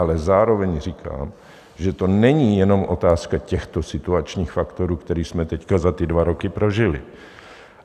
Ale zároveň říkám, že to není jenom otázka těchto situačních faktorů, které jsme teď za ty dva roky prožili.